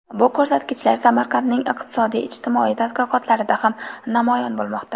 Bu ko‘rsatkichlar Samarqandning iqtisodiy-ijtimoiy taraqqiyotida ham namoyon bo‘lmoqda.